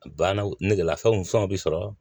Bannaw nɛgɛla fɛnw fɛn bɛ sɔrɔ